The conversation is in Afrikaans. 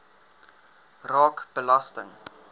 raak belasting